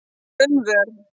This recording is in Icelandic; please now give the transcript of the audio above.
Gunnvör